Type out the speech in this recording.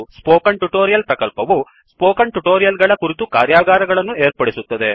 spoken tutorial ಪ್ರಕಲ್ಪವು spoken tutorial ಗಳ ಕುರಿತು ಕಾರ್ಯಾಗಾರಗಳನ್ನು ಏರ್ಪಡಿಸುತ್ತದೆ